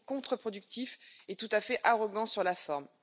C'est contre productif et tout à fait arrogant sur la forme.